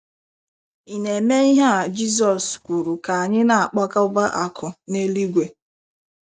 Ị̀ na - eme ihe a Jizọs kwuru ka anyị na - akpakọba akụ̀ n’eluigwe?